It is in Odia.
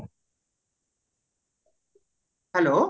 hello